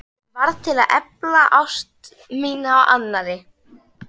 Sem varð til að efla ást mína á annarri.